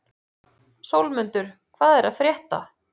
Sólmundur, hvað er að frétta?